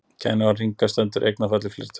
kenniorðið hringa stendur í eignarfalli fleirtölu